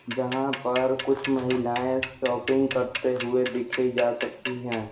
जहां पर कुछ महिलाएं शॉपिंग करते हुए दिखे जा सकती हैं।